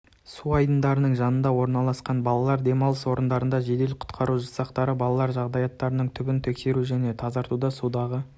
су айдындарының жанында орналасқан балалар демалыс орындарында жедел-құтқару жасақтары балалар жағажайлардың түбін тексеру және тазартуда судағы